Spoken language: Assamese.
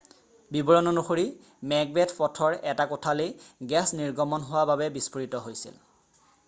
বিৱৰণ অনুসৰি মেকবেথ পথৰ এটা কোঠালী গেছ নিৰ্গমন হোৱা বাবে বিষ্ফোৰিত হৈছিল